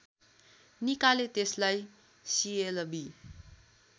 निकाले त्यसलाई सिएलबि